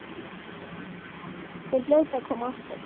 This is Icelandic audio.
Þau hljóta að koma aftur.